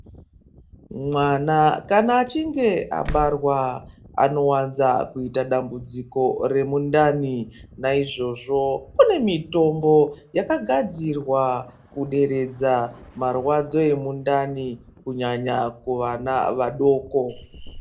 Mwana kana achinge abarwa, anowanza kuita dambudziko remundani. Naizvozvo kune mitombo yakagadzirwa kuderedza marwadzo emundani, kunyanya kuvana vadoko.